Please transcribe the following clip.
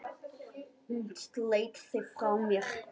Hún sleit sig frá mér.